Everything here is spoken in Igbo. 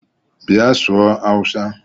Bia sụọ hausa!!